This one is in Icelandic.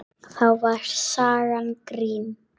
Þá var sagan grín.